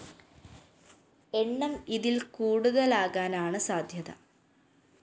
എണ്ണം ഇതില്‍ കൂടുതലാകാനാണ് സാധ്യത